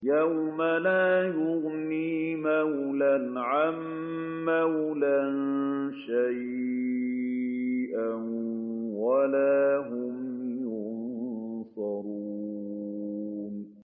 يَوْمَ لَا يُغْنِي مَوْلًى عَن مَّوْلًى شَيْئًا وَلَا هُمْ يُنصَرُونَ